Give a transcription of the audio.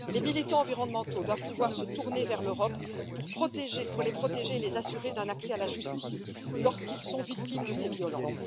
Les militants environnementaux doivent pouvoir se tourner vers l'Europe pour qu'elle les protège et leur assurer un accès à la justice lorsqu'ils sont victimes de ces violences.